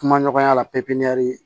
Kuma ɲɔgɔnya la